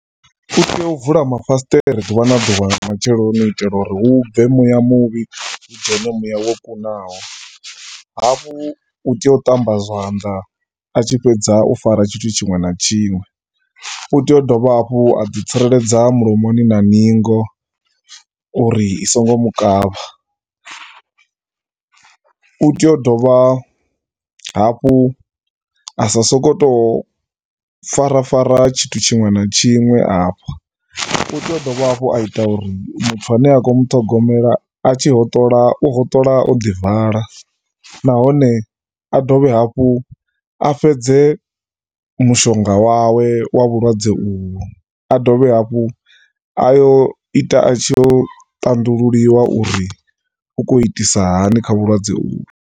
U tea u vula mafasiṱere ḓuvha na ḓuvha nga matsheloni u itela uri hu bve muya muvhi hu dzhene muya wo kunaho. Hafhu u tea u ṱamba zwanḓa a tshi fhedza u fara tshithu tshiṅwe na tshiṅwe. U tea u dovha hafhu a ḓi tsireledza mulomoni na ningo uri i songo mu kavha. U tea u dovha hafhu a sa sokou tou farafara tshithu tshiṅwe na tshiṅwe afha. U tea a dovha hafhu a ita uri muthu a ne a khou muṱhogomela a tshi hoṱola, u hoṱola o ḓi vala vala nahone dovhe hafhu a fhedze mushonga wawe wa vhulwadze uvhu. A dovhe hafhu a yo ita a tshi yo ṱanḓululiwa uri u khou itisa hani kha vhulwadze uvhu.